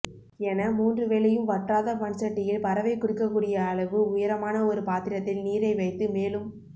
என மூன்று வேளையும் வற்றாத மண்சட்டியில் பறவை குடிக்கக்கூடிய அளவு உயரமான ஒரு பாத்திரத்தில் நீரை வைத்து மேலும்